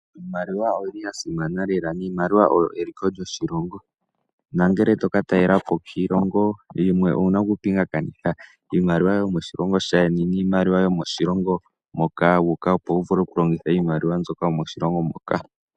Iimaliwa oyi li ya simana lela, iimaliwa oyo eliko lyoshilongo. No ngele to ka talelapo kiilongo yimwe owu na okupingakanitha wa hala oku ya koshilongo iimaliwa yomoshilongo shaayeni niimaliwa yo moshilongo moka wu uka, opo wu vule okulongitha iimaliwa mbyoka yomoshilongo moka.